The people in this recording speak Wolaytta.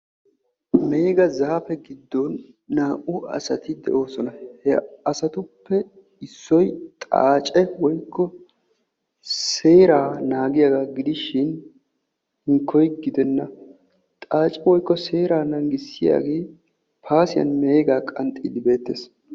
Meega zaafe giddon naa'u asati de'oosona. He asatuppe Issoyi xaace woykko seeraa naagiyagaa gidishin hinkkoyi gidenna xaacee woykko seeraa naagissiyagee paasiyan meegaa qanxxiiddi beettes.